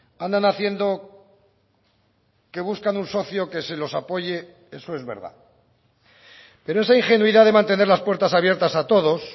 andan haciendo que buscan un socio que se los apoye eso es verdad pero esa ingenuidad de mantener las puertas abiertas a todos